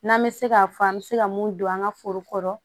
N'an bɛ se ka fɔ an bɛ se ka mun don an ka foro kɔrɔ